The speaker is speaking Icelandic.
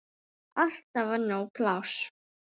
Alltaf var nóg pláss.